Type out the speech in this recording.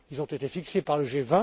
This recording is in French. Ils ont été fixés par le